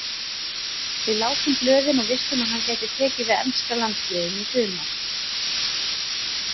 Við lásum blöðin og vissum að hann gæti tekið við enska landsliðinu í sumar.